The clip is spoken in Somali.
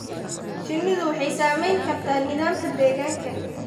Shinnidu waxay saamayn kartaa nidaamka deegaanka.